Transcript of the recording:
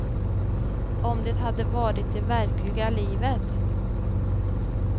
Om det hade varit i verkliga livet.